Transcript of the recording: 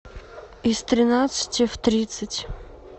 из тринадцати в тридцать